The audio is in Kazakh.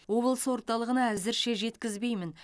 облыс орталығына әзірше жеткізбеймін